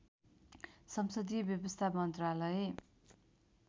संसदीय व्यवस्था मन्त्रालय